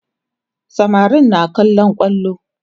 samarin na kallon kwallo